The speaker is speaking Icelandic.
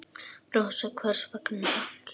Rósa: Hvers vegna ekki?